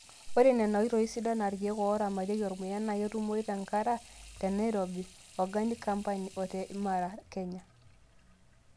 Ore Nena oitoii sidan aa irkeek oo ramatieki ormuya naa ketumoyu te ngara te Nairobi, organic campany o te imaran kenya.